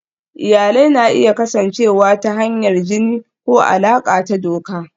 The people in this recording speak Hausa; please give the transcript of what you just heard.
Iyalai na iya kasancewa ta hanyar jini ko alaƙa ta doka.